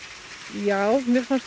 já mér fannst